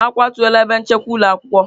A kwatuola ebe nchekwa ụlọ akwụkwọ.